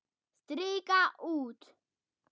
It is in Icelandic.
Strika út.